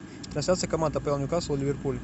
трансляция команд апл ньюкасл ливерпуль